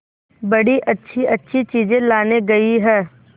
बड़ी अच्छीअच्छी चीजें लाने गई है